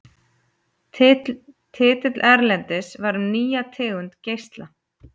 Titill erindisins var Um nýja tegund geisla.